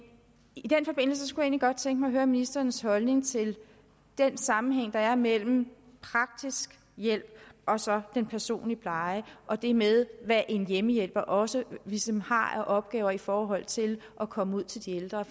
i den forbindelse kunne godt tænke mig at høre ministerens holdning til den sammenhæng der er mellem praktisk hjælp og så den personlige pleje og det med hvad en hjemmehjælper også ligesom har af opgaver i forhold til at komme ud til de ældre